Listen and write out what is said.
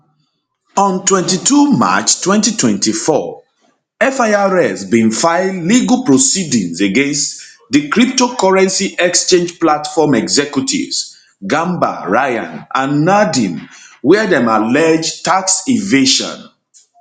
on 22 march 2024 firs bin file legal proceedings against di cryptocurrency exchange platform executives gambaryan and nadeem wia dem allege tax evasion